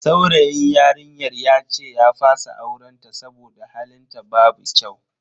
Saurayin yarinyar yace ya fasa auren ta saboda halin ta babu kyau.